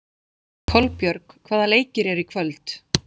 Kolbjörg, hvaða leikir eru í kvöld?